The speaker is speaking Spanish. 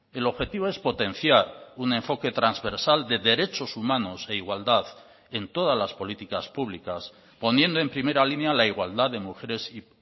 el objetivo es potenciar un enfoque transversal de derechos humanos e igualdad en todas las políticas públicas poniendo en primera línea la igualdad de mujeres y